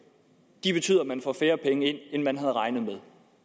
det betyder at man får færre penge ind end man havde regnet med